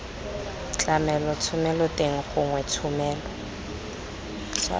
tlamelo thomelo teng gongwe thomelo